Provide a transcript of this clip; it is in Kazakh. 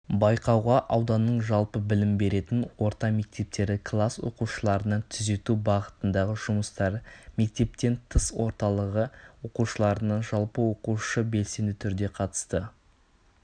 байқауға ауданның жалпы білім беретін орта мектептері класс оқушыларынан түзету бағытындағы жұмыстары мектептен тыс орталығы оқушыларынан жалпы оқушы белсенді түрде қатысты